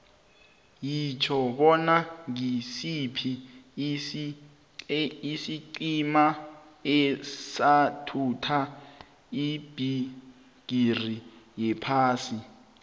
yitjho bona ngisiphi isiqhema esathatha ibhigiri yephasi